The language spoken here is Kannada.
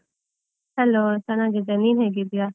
Hello ಚನ್ನಾಗಿದ್ದೇನೆ, ನೀನು ಹೇಗಿದ್ದೀಯಾ?